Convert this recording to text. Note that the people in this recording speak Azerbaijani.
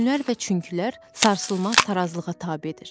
Nə üçünlər və çünkilər sarsılmaz tarazlığa tabedir.